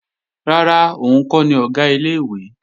Rárá, òun kọ́ ni Ọ̀gá ilé-ìwé